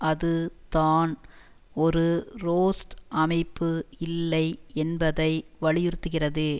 அது தான் ஒரு ரோஸ்ட் அமைப்பு இல்லை என்பதை வலியுறுத்துகிறது